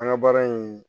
An ka baara in